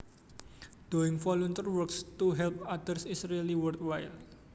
Doing volunteer work to help others is really worthwhile